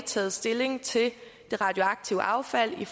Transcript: taget stilling til det radioaktive affald i